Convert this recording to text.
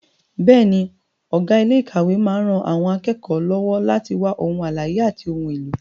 Bẹ́ẹ̀ni, ọ̀gá ilé ìkàwé máa ń ran àwọn akẹ́kọ̀ọ́ lọ́wọ́ láti wá ohun àlàyé àti ohun èlò.